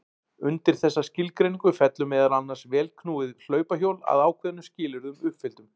Undir þessa skilgreiningu fellur meðal annars vélknúið hlaupahjól að ákveðnum skilyrðum uppfylltum.